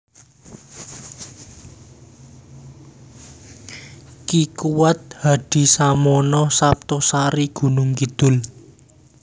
Ki Kuwat Hadisamono Saptosari Gunungkidul